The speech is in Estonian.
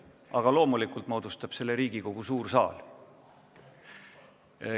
Aga loomulikult moodustab selle komisjoni Riigikogu suur saal.